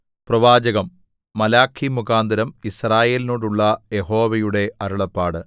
പ്രവാചകം മലാഖിമുഖാന്തരം യിസ്രായേലിനോടുള്ള യഹോവയുടെ അരുളപ്പാട്